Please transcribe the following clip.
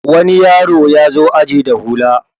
wani yaro ya zo aji da hula